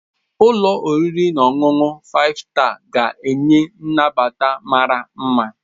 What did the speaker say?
Ụlọ oriri na ọṅụṅụ Five Star ga-enye nnabata mara mma.